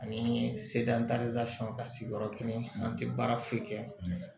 Ani sedan ka sigiyɔrɔ kelen an tɛ baara foyi kɛ